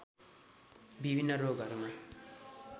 विभिन्न रोगहरूमा